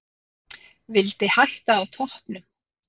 Vildi hætta á toppnum.